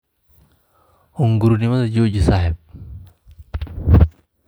Hungurinimada jooji saaxiib.